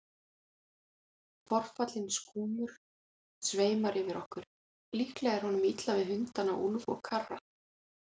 Tortrygginn skúmur sveimar yfir okkur, líklega er honum illa við hundana Úlf og Karra.